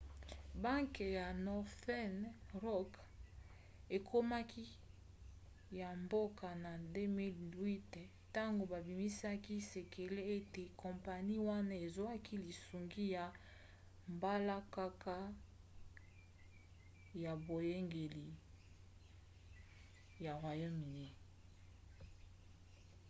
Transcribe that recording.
banke ya northern rock ekomaki ya mboka na 2008 ntango babimisaki sekele ete kompani wana ezwaki lisungi ya mbalakaka ya boyangeli ya royaume-uni